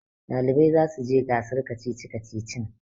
ɗalibai za su je gasar kacici-kacicin